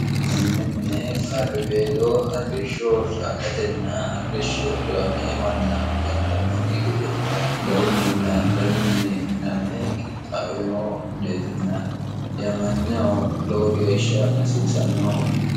kunni mine qarribeeloo arrishshoo caalatenna arrishsho diwamee manna gantannokki gede garunninna danunni miname qittaawino mineetinna dhiamanyaho lowo geeshsha hasiisannoho